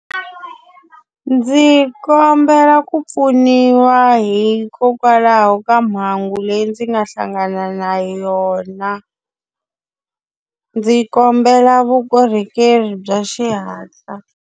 Ndzi kombela ku pfuniwa hikokwalaho ka mhangu leyi ndzi nga hlangana na yona. Ndzi kombela vukorhokeri bya xihatla.